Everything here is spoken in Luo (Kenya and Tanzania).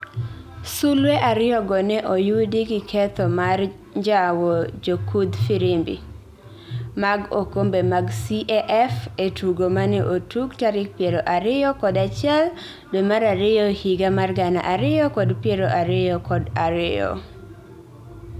sulwe ariyogo ne oyudi gi ketho mar njawo jokudh firimbi mag okombe mag CAF e tugo mane otug tarik piero ariyo kod achiel dwe mar ariyo higa mar gana ariyo kod pieroariyokod ariyo